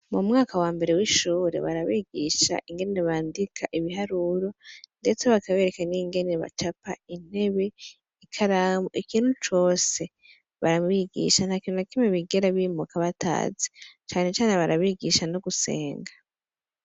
mu mwaka wa mbere w'ishure barabigisha ingenere bandika ibiharuro ndetse bakabereka n'ingene bacapa intebe ikaramu ikintu cose barabigisha nta kintu na kimi bigera bimuka batazi cyane cyane barabigisha no gusenga